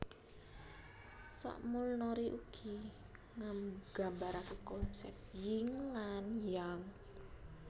Samulnori ugi nggambaraken konsep Ying lan Yang